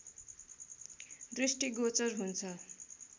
दृष्टिगोचर हुन्छ।